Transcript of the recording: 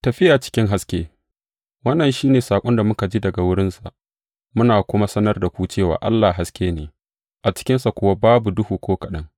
Tafiya cikin haske Wannan shi ne saƙon da muka ji daga wurinsa, muna kuma sanar da ku cewa Allah haske ne; a cikinsa kuwa babu duhu ko kaɗan.